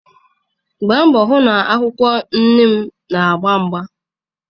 Gbaa mbọ hụ na akwụkwọ neem na-agba agba.